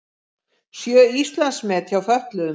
Sjö Íslandsmet hjá fötluðum